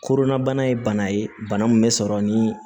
Kodɔnnabana ye bana ye bana min bɛ sɔrɔ ni